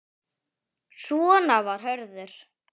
Svona var Hörður.